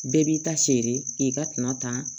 Bɛɛ b'i ta seere k'i ka tina tan